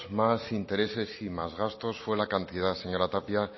más intereses y más gastos fue la cantidad señora tapia